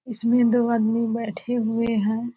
इसमें दो आदमी बैठे हुए है।